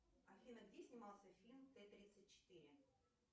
афина где снимался фильм т тридцать четыре